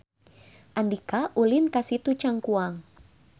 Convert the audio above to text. Andika ulin ka Situ Cangkuang